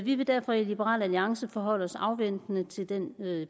vi vil derfor i liberal alliance forholde os afventende til den